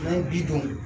N'an ye bi dun